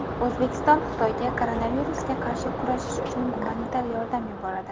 O‘zbekiston Xitoyga koronavirusga qarshi kurashish uchun gumanitar yordam yuboradi.